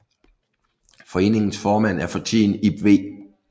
Foreningens formand er for tiden Ib V